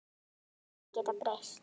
Allir geta breyst.